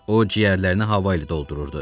O ciyərlərini hava ilə doldururdu.